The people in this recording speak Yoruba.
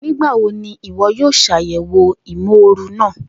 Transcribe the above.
Nigbawo ni iwọ yoo ṣayẹwo imooru naa?